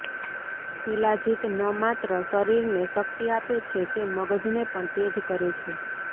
શિલાજીત ન માત્ર શરીરને શક્તિ આપે છે તે મગજને પણ તેજ કરે છે